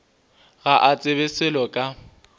ga a tsebe selo ka